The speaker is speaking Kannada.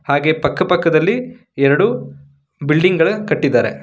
ಹಾಗೆ ಪಕ್ಕ ಪಕ್ಕದಲ್ಲಿ ಎರಡು ಬಿಲ್ಡಿಂಗ್ ಗಳ ಕಟ್ಟಿದಾರೆ.